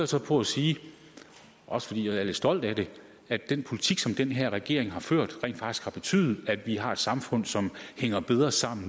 så på at sige også fordi jeg er lidt stolt af det at den politik som den her regering har ført rent faktisk har betydet at vi nu har et samfund som hænger bedre sammen